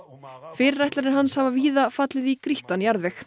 fyrirætlanir hans hafa víða fallið í grýttan jarðveg